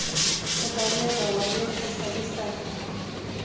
ebaleka waleqisa kwisango